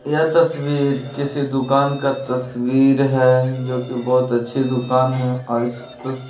यह तस्वीर किसी दुकान का तस्वीर हैं जो कि बहुत अच्छी दुकान है और इस तस--